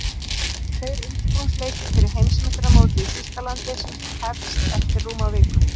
Tveir undirbúningsleikir fyrir Heimsmeistaramótið í Þýskalandi sem hest eftir rúma viku.